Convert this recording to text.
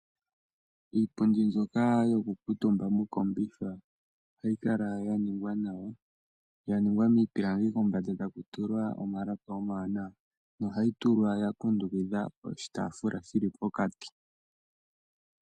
Iipundi mbyoka yokukuutumba moseti ohayi kala ya ningwa nawa, ya ningwa miipilangi kombanda taku tulwa omalapi omawanawa. Ohayi tulwa ya kundukidhwa oshitaafula sha tulwa pokati.